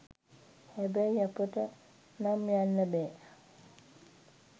හැබැයි අපට නම් යන්න බෑ